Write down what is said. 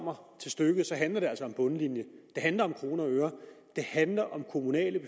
kommer til stykket handler det altså om bundlinjen det handler om kroner og øre det handler om kommunale